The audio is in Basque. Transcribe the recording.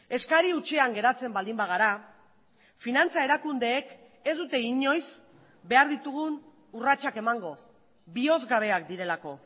eskari hutsean geratzen baldin bagara finantza erakundeek ez dute inoiz behar ditugun urratsak emango bihozgabeak direlako